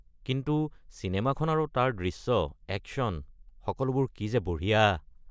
কিন্তু চিনেমাখন আৰু তাৰ দৃশ্য, একশ্যন, সকলোবোৰ কি যে বঢ়িয়া।